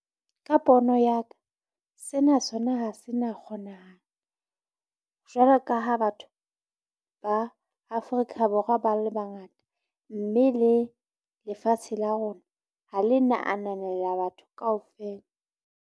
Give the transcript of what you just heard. Ka pono ya ka sena sona ha se na kgonahala, jwalo ka ha batho ba Afrika Borwa ba le bangata. Mme le lefatshe la rona ha le na ananela batho kaofela.